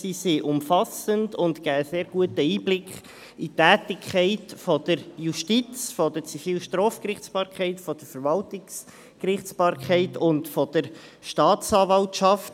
Diese sind umfassend und geben einen sehr guten Einblick in die Tätigkeit der Justiz, der Zivil- und Strafgerichtsbarkeit, der Verwaltungsgerichtsbarkeit und der Staatsanwaltschaft.